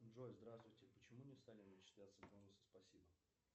джой здравствуйте почему не стали начисляться бонусы спасибо